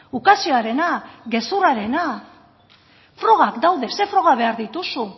ukazioarena gezurrarena frogak daude ze froga behar dituzu